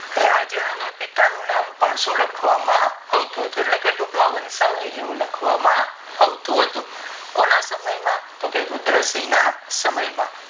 રાજા અને સિક્કા નું નામ પણ લખવા માં આવતું એટલે કે ટૂંક માં વંશવાની જેવું લખવામાં આવતું હતું કોના સમય માં કે રુદ્રમન ના સમય માં